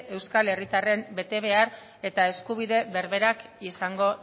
euskal herritarren betebehar eta eskubide berberak izango